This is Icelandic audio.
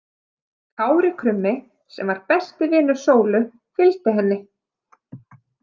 Kári krummi sem var besti vinur Sólu fylgdi henni.